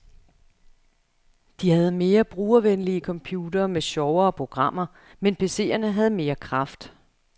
De havde mere brugervenlige computere med sjovere programmer, men PCerne havde mere kraft.